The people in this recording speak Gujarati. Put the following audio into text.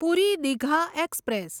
પૂરી દીઘા એક્સપ્રેસ